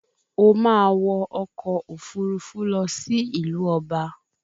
O máa wọ ọkọ̀ òfurufú lọ sí ìlú ọba